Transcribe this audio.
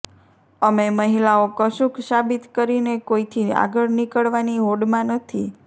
અમે મહિલાઓ કશુંક સાબિત કરીને કોઈથી આગળ નીકળવાની હોડમાં નથી